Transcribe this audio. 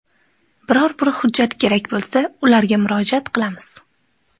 Biror bir hujjat kerak bo‘lsa, ularga murojaat qilamiz.